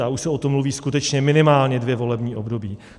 A už se o tom mluví skutečně minimálně dvě volební období.